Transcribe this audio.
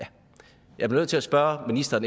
jeg bliver nødt til at spørge ministeren